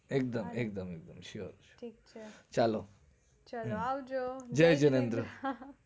એક્દમ sure ચાલો આવજો જયજિનેન્દ્ર